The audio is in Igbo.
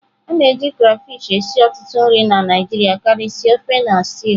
A na-eji crayfish esi ọtụtụ nri na Naijiria karịsịa ofe na stew.